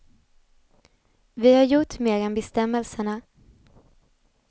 Vi har gjort mer än bestämmelserna.